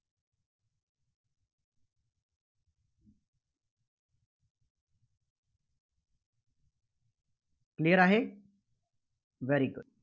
Clear आहे? very good